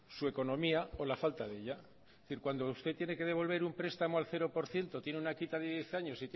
su economía o la falta de ella es decir cuando usted tiene que devolver un prestamos al cero por ciento tiene una quita de diez años